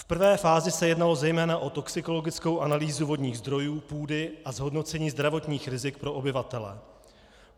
V prvé fázi se jednalo zejména o toxikologickou analýzu vodních zdrojů, půdy a zhodnocení zdravotních rizik pro obyvatele.